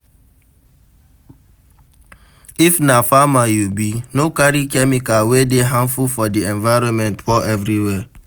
If na farmer you be, no carry chemical wey dey harmful for di environment pour everywhere